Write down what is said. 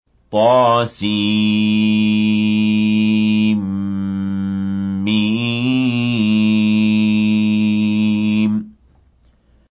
طسم